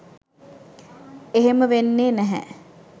එහෙම වෙන්නේ නැහැ